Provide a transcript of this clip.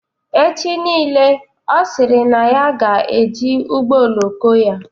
Echi nile Ọ sịrị na ya ga-eji ụgbọ oloko ya